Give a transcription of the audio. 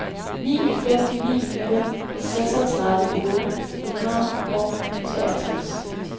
ni fem ni nul seksogtredive otte hundrede og otteogtres